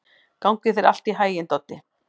Gangi þér allt í haginn, Doddi.